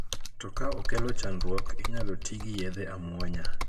To ka okelo chandruok ,inyalo ti gi yedhe amuonya.